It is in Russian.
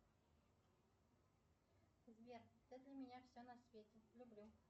сбер ты для меня все на свете люблю